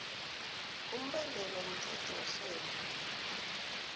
umbandela womthetho werhelo